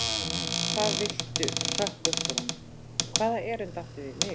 Hvað viltu hrökk upp úr honum, hvaða erindi áttu við mig?